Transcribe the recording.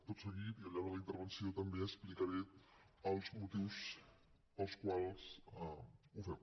tot seguit i al llarg de la intervenció també explicaré els motius pels quals ho fem